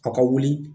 A ka wuli